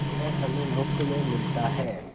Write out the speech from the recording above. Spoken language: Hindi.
यह हमें मुफ्त में मिलता है